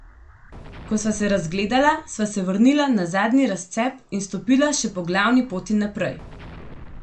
Ko sva se razgledala, sva se vrnila na zadnji razcep in stopila še po glavni poti naprej.